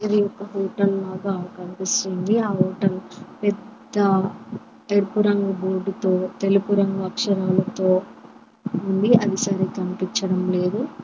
ఇది ఒక హోటల్ లాగా కనిపిస్తుంది ఆ హోటల్ పెద్ద ఎరుపు రంగు బోర్డుతో తెలుపు రంగు అక్షరాలతో ఉంది అది సరిగ్ కనిపించడం లేదు.